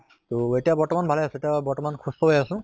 তহ এতিয়া বৰ্তমান ভালে আছো, এতিয়া বৰ্তমান সুস্থ হৈ আছো